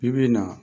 Bi bi in na